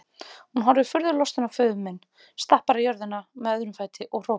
Hún horfir furðu lostin á föður minn, stappar í jörðina með öðrum fæti og hrópar